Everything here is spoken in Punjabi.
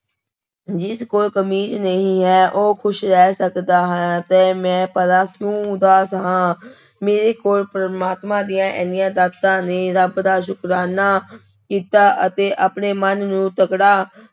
ਜਿਸ ਕੋਲ ਕਮੀਜ਼ ਨਹੀਂ ਹੈ ਉਹ ਖ਼ੁਸ਼ ਰਹਿ ਸਕਦਾ ਹੈ ਤੇ ਮੈਂ ਭਲਾ ਕਿਉਂ ਉਦਾਸ ਹਾਂ ਮੇਰੇ ਕੋਲ ਪ੍ਰਮਾਤਮਾ ਦੀਆਂ ਇੰਨੀਆਂ ਦਾਤਾਂ ਨੇ, ਰੱਬ ਦਾ ਸੁਕਰਾਨਾ ਕੀਤਾ ਅਤੇ ਆਪਣੇ ਮਨ ਨੂੰ ਤਕੜਾ